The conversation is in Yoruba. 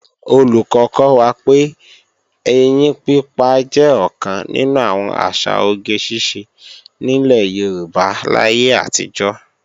Olùkọ́ kọ́ wa pé, ẹyín pípa jẹ́ ọ̀kan nínú àwọn àṣà oge ṣíṣe nílẹ̀ Yorùbá láyé àtijọ́